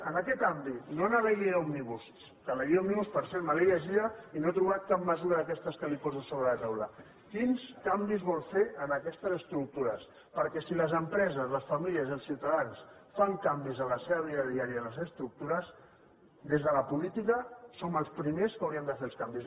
en aquest àmbit no en la llei òmnibus que la llei òmnibus per cert me l’he llegida i no he trobat cap mesura d’aquestes que li poso sobre la taula quins canvis vol fer en aquestes estructures perquè si les empreses les famílies i els ciutadans fan canvis en la seva vida diària i en les estructures des de la política som els primers que hauríem de fer els canvis